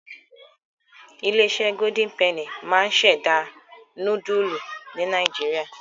Ilé-iṣẹ́ Golden penny máa ń ṣẹ̀dá núdúlù ní Nàìjíríà.